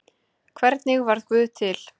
Hvernig varð guð til?